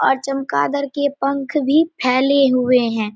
और चमगादड़ के पंख भी फैले हुए है।